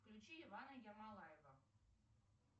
включи ивана ермолаева